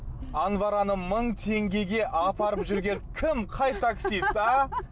анвараны мың теңгеге апарып жүрген кім қай таксист а